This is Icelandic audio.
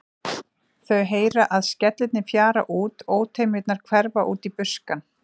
Þau heyra að skellirnir fjara út, ótemjurnar hverfa út í buskann.